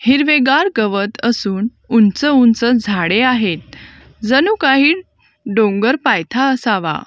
हिरवेगार गवत असून उंच उंच झाडे आहेत जणू काही डोंगर पायथा असावा.